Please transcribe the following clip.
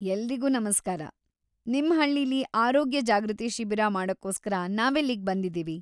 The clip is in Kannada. ಎಲ್ರಿಗೂ ನಮ್ಸ್ಕಾರ, ನಿಮ್ ಹಳ್ಳಿಲಿ ಆರೋಗ್ಯ ಜಾಗೃತಿ ಶಿಬಿರ ಮಾಡಕ್ಕೋಸ್ಕರ ನಾವಿಲ್ಲಿಗ್ ಬಂದಿದೀವಿ.